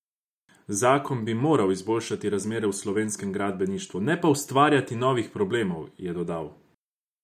Zakon bi moral izboljšati razmere v slovenskem gradbeništvu, ne pa ustvarjati novih problemov, je dodal.